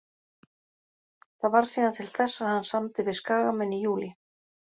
Það varð síðan til þess að hann samdi við Skagamenn í júlí.